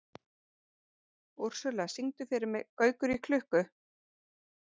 Úrsúla, syngdu fyrir mig „Gaukur í klukku“.